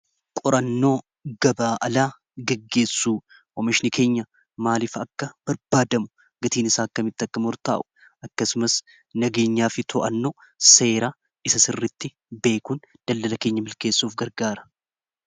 Qorannoo gabaa alaa gaggeessuu oomishni keenya maaliif akka barbaadamu gatiin isaa akka mixxaqkamurtaa'u akkasumas nageenyaa fi to'annoo seeraa isa sirritti beekuun dallala keenya milkeessuuf gargaara.